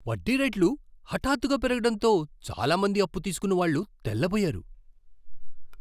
వడ్డీ రేట్లు హఠాత్తుగా పెరుగడంతో చాలా మంది అప్పు తీసుకున్నవాళ్ళు తెల్లబోయారు.